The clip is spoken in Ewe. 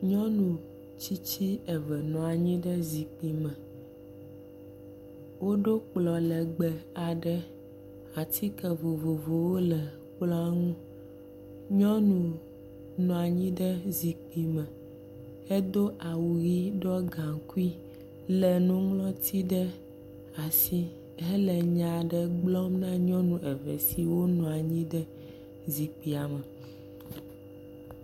Nyɔnu tsitsi eve nɔ anyi ɖe zikpi me. Woɖo kplɔ̃ lɛgbɛ aɖe, atike vovovowo le kplɔ̃ ŋu. Nyɔnu nɔ anyi ɖe zikpi me hedo awu ʋi ɖɔ gaŋkui, lé nuŋlɔti ɖe asi hele nya aɖe gblɔm na nyɔnu eve siwo nɔ anyi ɖe zikpia me.